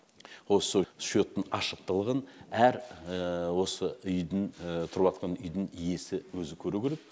осы шоттың ашықтылығын әр осы үйдің тұрыватқан үйдің иесі өзі көру керек